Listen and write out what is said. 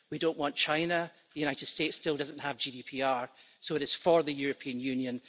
We don't want China and the United States still doesn't have GDPR, so it is up to the European Union.